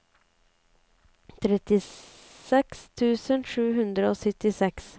trettiseks tusen sju hundre og syttiseks